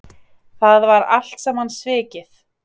Það var allt saman svikið.